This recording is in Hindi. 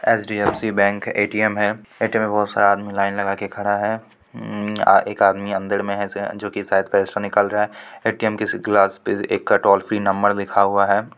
एच.डी.एफ.सी. बैंक है ए.टी.एम. है ए.टी.एम. में बहुत सारा आदमी लाइन लगा के खड़ा है उम्म एक आदमी अंदर में है जो कि शायद पैसे निकाल रहा है ए.टी.एम. के ग्लास पे एक टोल फ्री नंबर लिखा हुआ है।